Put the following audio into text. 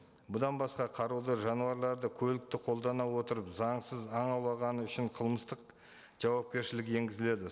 бұдан басқа қаруды жануарларды көлікті қолдана отырып заңсыз ан аулағаны үшін қылмыстық жауапкершілік енгізіледі